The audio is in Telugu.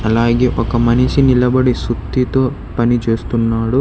అలాగే ఒక మనిషి నిలబడి సుత్తితో పని చేస్తున్నాడు.